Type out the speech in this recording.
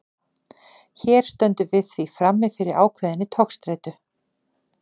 Hér stöndum við því frammi fyrir ákveðinni togstreitu.